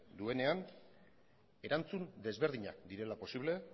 duenean erantzun desberdinak direla posible